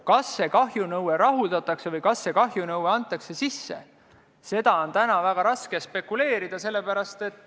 Kas see kahjunõue rahuldatakse või kas see kahjunõue antakse sisse, seda on täna väga raske spekuleerida.